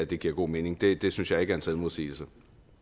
det giver god mening det det synes jeg ikke er en selvmodsigelse